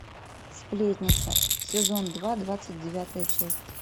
сплетница сезон два двадцать девятая часть